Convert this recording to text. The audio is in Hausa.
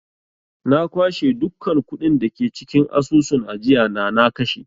Na kwashe dukkan kuɗin da ke cikin asusun ajiyana na kashe.